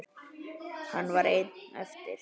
Hann var einn eftir.